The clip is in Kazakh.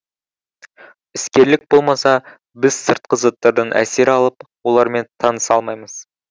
іскерлік болмаса біз сыртқы заттардан әсер алып олармен таныса алмаймыз